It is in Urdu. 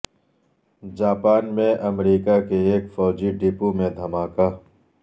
جاپان میں امریکہ کے ایک فوجی ڈپو میں دھماکہ